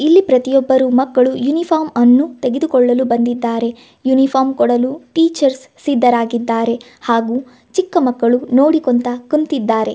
ಇಲ್ಲಿ ಪ್ರತಿಯೊಬ್ಬರು ಮಕ್ಕಳು ಯೂನಿಫಾರ್ಮ್ ಅನ್ನು ತೆಗೆದುಕೊಳ್ಳಲು ಬಂದಿದ್ದಾರೆ ಯುನಿಫಾರ್ಮ್ ಕೊಡಲು ಟೀಚರ್ಸ್ ಸಿದ್ದರಾಗಿದ್ದಾರೆ ಹಾಗು ಚಿಕ್ಕಮಕ್ಕಳು ನೋಡಿಕುಂತಾ ಕುಂತಿದ್ದಾರೆ.